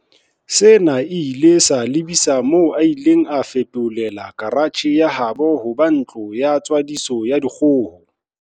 Sena se ile sa lebisa moo a ileng a feto lela karatjhe ya habo ho ba ntlo ya tswadiso ya dikgoho.